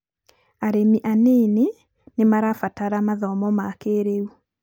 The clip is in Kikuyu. arĩmi anĩnĩ nĩ marabatara mathomo ma kĩĩrĩu.